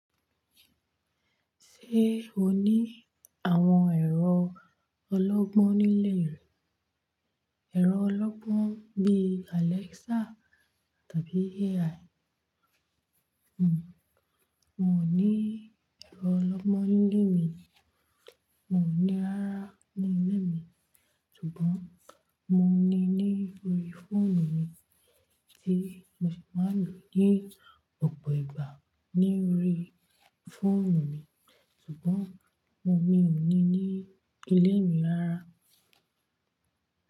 Ṣé o ní àwọn ẹ̀rọ ọlọ́gbọ́n nílé rẹ? Ẹ̀rọ ọlọ́gbọ́n bíi Alexa tàbí AI. Hmmm, mo ní ẹ̀rọ ọlọ́gbọ́n nílé mi. Mo ní rara nílé mi ṣùgbọ́n mo ní i ní orí fóònù mi tí mo ṣe máa ń lò ní ọ̀pọ̀ ìgbà ní orí fóònù mi ṣùgbọ́n mo ní ní ilé mi lára.